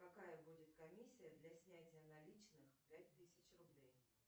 какая будет комиссия для снятия наличных пять тысяч рублей